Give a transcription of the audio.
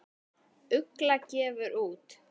Ugla gefur út.